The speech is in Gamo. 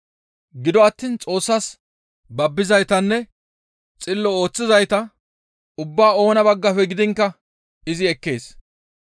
Gido attiin Xoossas babbizaytanne xillo ooththizayta ubbaa oona baggafe gidiinkka izi ekkees.